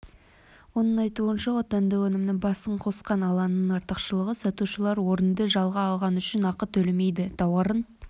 оның айтуынша отандық өнімнің басын қосқан алаңның артықшылығы сатушылар орынды жалға алғаны үшін ақы төлемейді тауарын